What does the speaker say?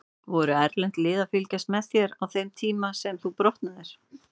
Voru erlend lið að fylgjast með þér á þeim tíma sem þú brotnaðir?